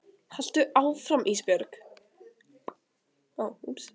Haltu áfram Ísbjörg.